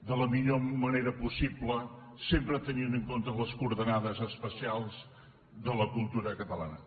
de la millor manera possible sempre tenint en comp·te les coordenades especials de la cultura catalana